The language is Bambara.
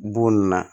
Bon nin na